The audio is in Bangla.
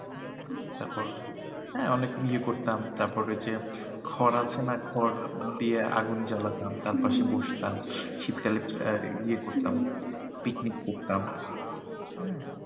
তারপর হ্যাঁ অনেক ইয়ে করতাম তারপর ওই যে খড় আছে না? খড় দিয়ে আগুন জ্বালাতাম হম হম তার পাশে বসতাম শীতকালে আহ ইয়ে করতাম হম হম picnic করতাম হ্যাঁ